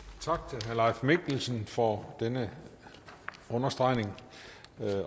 tak mikkelsen for denne understregning